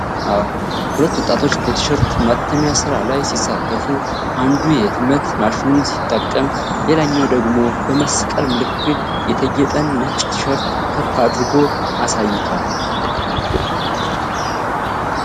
ሁለት ወጣቶች በቲሸርት ማተሚያ ሥራ ላይ ሲሳተፉ፣ አንዱ የህትመት ማሽኑን ሲጠቀም ሌላኛው ደግሞ በመስቀል ምልክት የተጌጠን ነጭ ቲሸርት ከፍ አድርጎ አሳይቷል።